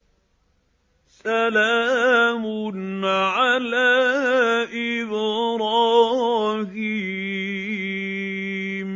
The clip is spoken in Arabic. سَلَامٌ عَلَىٰ إِبْرَاهِيمَ